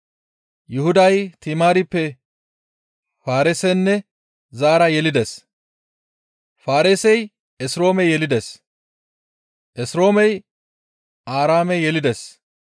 Yuhuday Timaarippe Faareesenne Zaara yelides; Faareesey Esroome yelides; Esroomey Aaraame yelides;